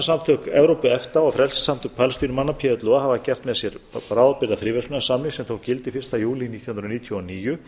fríverslunarsamtök evrópu efta og frelsissamtök palestínumanna plo hafa gert með sér bráðabirgðafríverslunarsamning sem tók gildi fyrsta júlí nítján hundruð níutíu og níu